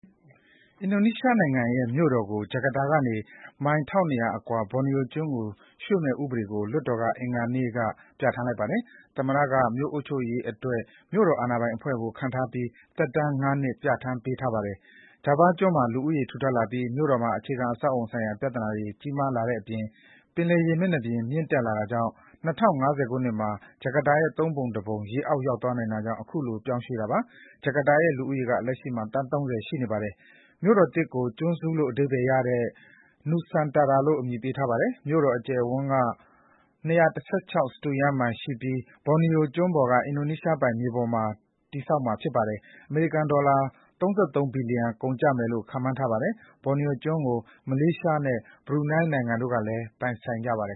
အင်ဒိုနီးရှား နိုင်ငံ ရဲ့ မြို့တော် ကို ဂျာကာတာ ကနေ မိုင် ၁၂၀၀ အကွာ ဘော်နီယို ကျွန်း ကို ရွှေ့မယ့် ဥပဒေ ကို လွှတ်တော် က အင်္ဂါနေ့ က ပြဌာန်းလိုက်ပါတယ်။ သမ္မတ က မြို့ အုပ်ချုပ်ရေး အတွက် မြို့တော် အာဏာပိုင် အဖွဲ့ ကို ခန့်ထားပြီး၊ သက်တမ်း ၅ နှစ် ပြဌာန်းထားပါတယ်။ ဂျာဗား ကျွန်း မှာ လူဦးရေ ထူထပ်လာပြီး မြို့တော် မှာ အခြေခံ အဆောက်အအုံ ဆိုင်ရာ ပြဿနာတွေ ကြီးမားလာတဲ့အပြင်၊ ပင်လယ် ရေမျက်နှာပြင် မြင့်တက်လာတာကြောင့် ၂၀၅၀ မှာ ဂျာကာတာ ရဲ့ သုံးပုံ တစ်ပုံ ရေအောက် ရောက်သွားနိုင်တာကြောင့် ခုလို ပြောင်းရွှေ့တာပါ။ ဂျာကာတာ ရဲ့ လူဦးရေ က သန်း ၃၀ ရှိနေပါပြီ။ မြို့တော်သစ် ကို ကျွန်းစု လို့ အဓိပ္ပါယ် ရတဲ့ Nusantara လို့ အမည်ပေးထားပါတယ်။ မြို့တော် အကျယ်အဝန်း က၂၁၆ စတုရန်း မိုင် ရှိပြီး၊ ဘော်နီယို ကျွန်း ပေါ် က အင်ဒိုနီးရှား ပိုင် မြေပေါ်မှာ တည်မှာ ဖြစ်ပါတယ်။ အမေရိကန် ဒေါ်လာ ၃၃ ဘီလီယံ ကုန်ကျမယ်လို့ ခန့်မှန်းထားပါတယ်။ ဘော်နီယိုကျွန်း ကို မလေးရှား နဲ့ ဘရူနိုင်းတို့ကလည်း ပိုင်ကြပါတယ်